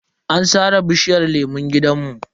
An sare bishiyar lemun gidanmu.